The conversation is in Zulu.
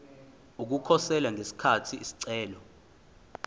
ukukhosela ngesikhathi isicelo